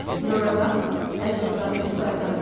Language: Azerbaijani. Bir ora bax, əclafın üçü qayığa minir.